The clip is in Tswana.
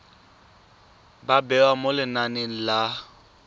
ba bewa mo lenaneng la